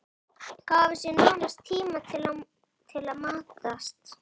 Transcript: Gáfu sér naumast tíma til að matast.